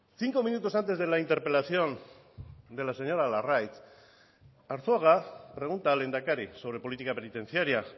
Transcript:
cinco minutos antes de la interpelación de la señora larraitz arzuaga pregunta al lehendakari sobre política penitenciaria